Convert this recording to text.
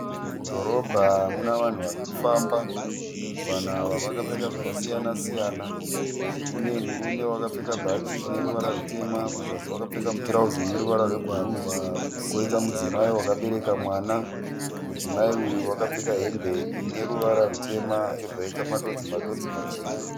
Mudhorobha muna vanhu varikufamba. Vanhu ava vakapfeka zvakasiyana-siyana. Kune murume wakapfeka bhachi rine ruvara rwutema, kuzasi wakapfeka mutirauzi uneruvara rwebhuruu. Koita Mudzimai wakabereka mwana. Mudzimai uyu wakapfeka hembe ineruvara rwutema yobva yaita madodzi-madodzi machena.